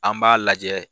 An b'a lajɛ